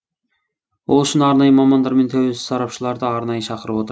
ол үшін арнайы мамандар мен тәуелсіз сарапшыларды арнайы шақырып отыр